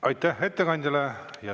Aitäh ettekandjale!